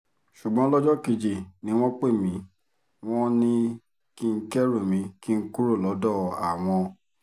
ṣùgbọ́n lọ́jọ́ kejì ni wọ́n pè mí wọ́n ní kí n kẹ́rù mi kí n kúrò lọ́dọ̀ àwọn